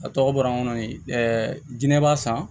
A tɔgɔ bɔra n kɔnɔ ɛɛ dinɛ b'a san